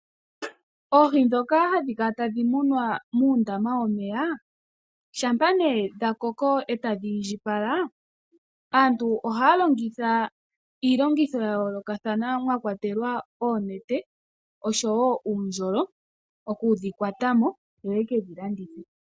Oohi dhoka hadhi kala tadhi munwa mundama womeya. Shampa nee dhakoko etadhi etadhi iindjipala ,aantu ohaya longitha iilongitho yayolokathana mwakwa telelwa oonete nosho woo uundjolo okudhi kwata mo yo yekedhi landithe.